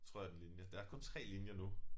Tror jeg den linje der er kun 3 linjer nu